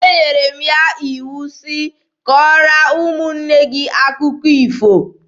Enyere m ya iwu sị, "Kọọrọ ụmụnne gị akụkọ ifo!"